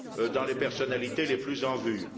dans les personnalités les plus en vue.